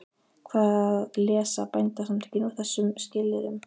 Hvað lesa Bændasamtökin úr þessum skilyrðum?